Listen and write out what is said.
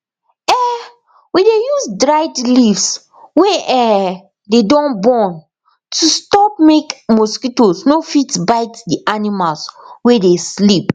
um we dey use dried leaves wey um dey don burn to stop make mosquitoes no fit bite d animals wey dey sleep